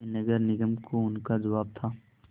यह नगर निगम को उनका जवाब था